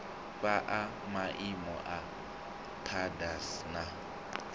fhaa maimo a pdas na